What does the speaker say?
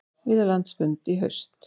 Vilja landsfund í haust